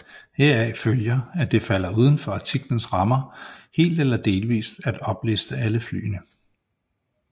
Heraf følger at det falder uden for artiklens rammer helt eller delvis at opliste alle flyene